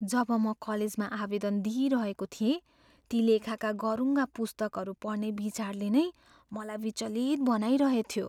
जब म कलेजमा आवेदन दिइरहेको थिएँ, ती लेखाका गह्रुङ्गा पुस्तकहरू पढ्ने विचारले नै मलाई विचलित बनाइरहेथ्यो।